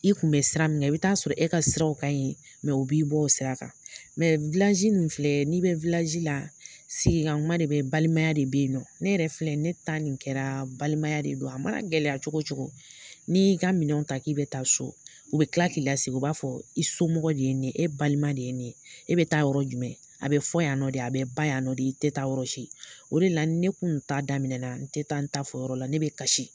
I kun bɛ sira min kan ,i bi taa sɔrɔ e ka sira kaɲi . u b'i bɔ o sira kan nin filɛ n'i bɛ la sigi ka kuma de be yen, balimaya de be yen nɔ . Ne yɛrɛ filɛ ne ta nin kɛra balimaya de don, a ma na gɛlɛya cogo cogo n'i y'i ka minɛnw ta k'i bɛ taa so u bɛ kila k'i lasigi, u b'a fɔ i somɔgɔ de ye nin ye, e balima de ye nin ye, e bɛ taa yɔrɔ jumɛn? a bɛ fɔ yan nɔ de, a bɛ ban yan nɔ de, i tɛ taa yɔrɔsi . O de la ni ne kun ta daminɛ na, n tɛ taa n ta fɔ yɔrɔ la, ne bɛ kasi.